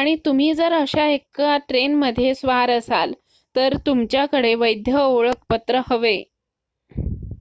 आणि तुम्ही जर अशा 1 ट्रेन मध्ये स्वार असाल तर तुमच्या कडे वैध ओळखपत्र हवे